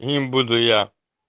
не буду я